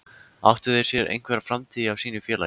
Áttu þeir sér einhverja framtíð hjá sínu félagi?